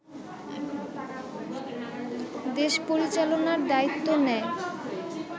দেশ পরিচালনার দায়িত্ব নেয়